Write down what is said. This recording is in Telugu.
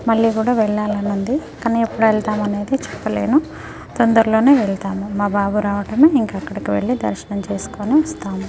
మల్లి కూడా వెళ్ళాలని ఉంది కానీ ఎప్పుడు వెళ్తాం అనేది చెప్పలేను తొందర్లోనే వెళ్తాము మా బాబు రావటమే ఇంకా అక్కడికి వెళ్లి దర్శనం చేస్కొని వస్తాము .